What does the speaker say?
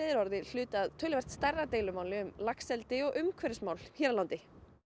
er orðið hluti af stærra deilumáli um laxeldi og umhverfismál hér á landi